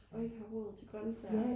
og ikke har råd til grønsager